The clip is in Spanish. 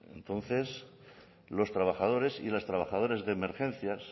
entonces los trabajadores y las trabajadoras de emergencias